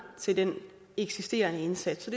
til den eksisterende indsats